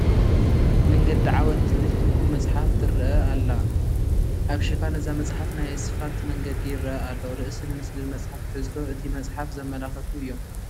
መንገዲ ዓወት ትብል ትርጉም መፅሓፍ ትርአ ኣላ፡፡ ኣብ ሽፋን እዛ መፅሓፍ ናይ ስፋልት መንገዲ ይርአ ኣሎ፡፡ ርእስን ምስልን መፅሓፍ ትሕዝቶ እቲ መፅሓፍ ዘመላኽቱ እዮም፡፡